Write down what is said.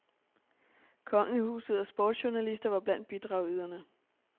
Kongehuset og sportsjournalister var blandt bidragyderne.